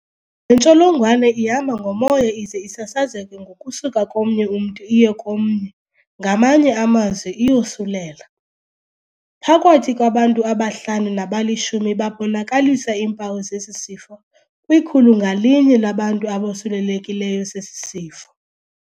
Le ntsholongwane ihamba ngomoya ize sasazeke ngokusuka komnye umntu iye komnye, ngamanye amazwi iyosulela. Phakathi kwabantu abahlanu nabalishumi babonakalisa iimpawu zesi sifo, kwikhulu ngalinye labantu abosulelekileyo esi sifo.